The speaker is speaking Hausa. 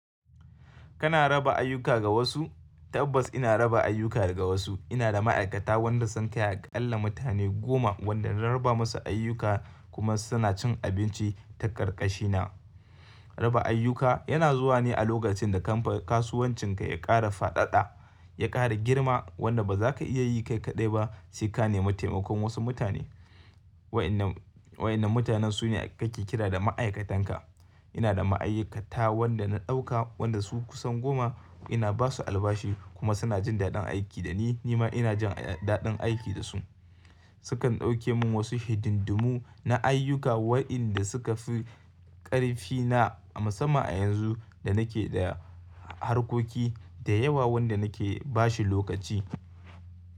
Kana raba ayyuka ga wasu? Tabbas ina raba ayyuka ga wasu. Ina da ma'aikata wadanda sun kai Akalla mutane goma wanda na raba musu ayyuka kuma suna cin abinci ta ƙarƙashina. Raba ayyuka yana zuwa ne a lokacin da kamfan kasuwancinka ya ƙara faɗaɗa, ya ƙara girma wanda ba za ka iya yi kai kaɗai ba sai ka nemi taimakon wasu mutane. Wayannan, wa'yannan mutanen sune kake kira da ma'aikatanka. Ina da ma'aikata wadanda na ɗauka wadanda su kusan goma. Ina basu albashi kuma suna jin daɗin aiki da ni, nima ina jin daɗin aiki da su. Sukan ɗauke mun wasu hididdumu na ayyuka wa'yanda suka fi ƙarfi na a musamman a yanzu da nake da harkoki da yawa wadanda nake bashi lokaci.